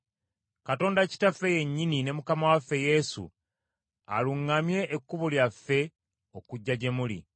Katonda Kitaffe yennyini ne Mukama waffe Yesu aluŋŋamye ekkubo lyaffe okujja gye muli.